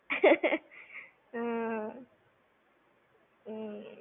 હમ્મ હમ